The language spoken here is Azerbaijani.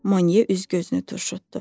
Monye üzünü turşutdu.